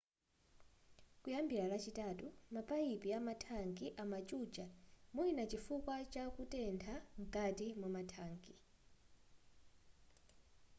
kuyambira lachitatu mapayipi amathanki amachucha mwina chifukwa chakutetha nkati mwathanki